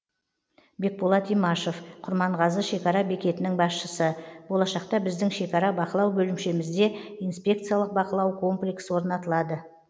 бекболат имашев құрманғазы шекара бекетінің басшысы болашақта біздің шекара бақылау бөлімшемізде инспекциялық бақылау комплексі орнатылады